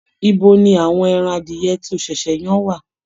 Ibo ni àwọn ẹran adìyẹ tí o ṣẹ̀ṣẹ̀ yan wà?